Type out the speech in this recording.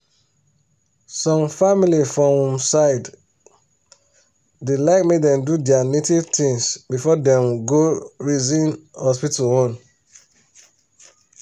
some family for um we side um da like make dem do their native things before them um go reason hospital own